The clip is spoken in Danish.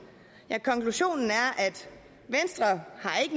ja konklusionen er